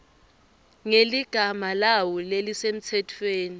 ngeligama lawo lelisemtsetfweni